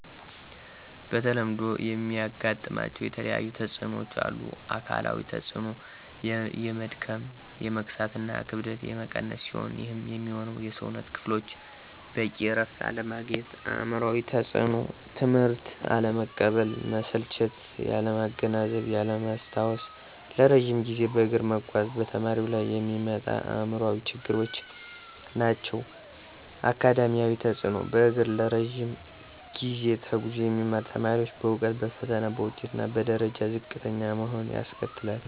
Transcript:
በተለምዶ የሚያጋጥማቸው የተለያየተፅኖዎች አሉ። -አካላዊ ተፅኖ፦ የመድከም፣ የመክሳት እና ክብደት የመቀነስ ሲሆኑ ይህም የሚሆነው የሠውነት ክፍሎቹ በቂ እረፍት አለማግኘት። -አእምሯዊ ተፅኖ፦ ትምህትን አለመቀበል፣ መሰልቸት፣ ያለማገናዘብ፣ ያለማስታወስ ለረጅም ጊዜ በእግር በመጓዝ በተማሪው ላይ የሚመጡ አእምሯዊ ችግሮች ናቸው። -አካዳሚያዊ ተፅኖ፦ በእግሩ ለረጅ ጊዜ ተጉዞ የሚማሩ ተማሪዎች በእውቀት፣ በፈተና፣ በውጤት እና በደረጃ ዝቅተኛ መሆን ያስከትላል